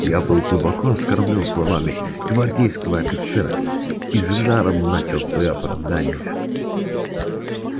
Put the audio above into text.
я был глубоко оскорблён словами гвардейского офицера и с жаром начал своё оправдание